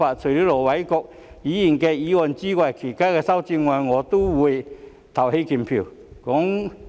除了盧偉國議員的修正案外，對於其他修正案我都會投棄權票。